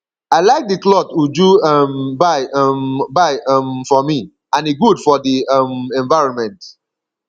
i like the cloth uju um buy um buy um for me and e good for the um environment